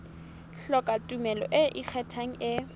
hloka tumello e ikgethang e